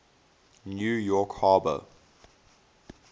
new york harbor